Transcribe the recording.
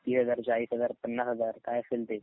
तीस हजार, चाळीस हजार, पन्नास हजार काय असेल ते.